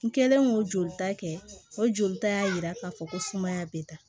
N kɛlen k'o jolita kɛ o jolita y'a yira k'a fɔ ko sumaya bɛ taa